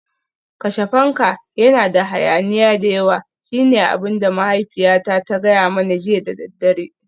Kashe fanka, yana da hayaniya da yawa shine abin da mahaifiyata ta gaya mani jiya da daddare